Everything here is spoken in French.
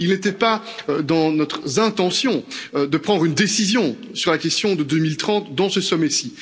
Il n'était pas dans notre intention de prendre une décision sur la question de 2030 lors de ce sommet ci.